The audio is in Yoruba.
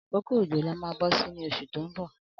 Akókó ójó là mà bọsi ni ọṣú tó n bọ